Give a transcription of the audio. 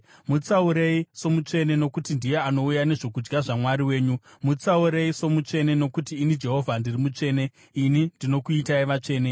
Mutsaurei somutsvene nokuti ndiye anouya nezvokudya zvaMwari wenyu. Mutsaurei somutsvene nokuti ini Jehovha ndiri mutsvene, ini ndinokuitai vatsvene.